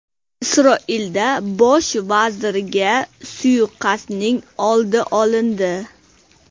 Isroilda bosh vazirga suiqasdning oldi olindi.